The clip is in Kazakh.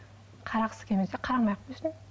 қарағысы келмесе қарамай ақ қойсын